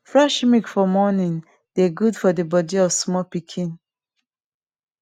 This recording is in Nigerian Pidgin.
fresh milk for morning dey gud for de body of small pikin